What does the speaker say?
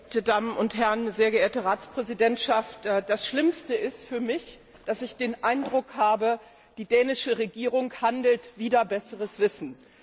Sehr geehrte Damen und Herren, sehr geehrte Ratspräsidentschaft! Das Schlimmste ist für mich, dass ich den Eindruck habe, die dänische Regierung handelt wider besseres Wissen.